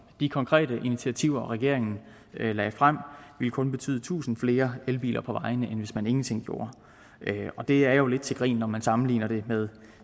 de konkrete initiativer regeringen lagde frem ville kun betyde tusind flere elbiler på vejene end hvis man ingenting gjorde det er jo lidt til grin når man sammenligner det med